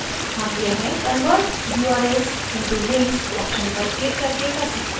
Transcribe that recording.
हम यह convert urls into links option पर क्लिक करके कर सकते हैं